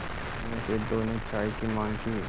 उनमें से दो ने चाय की माँग की